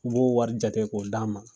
U b'o wɔri jate k'o d'an ma.